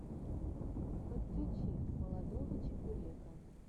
подключи молодого чебурека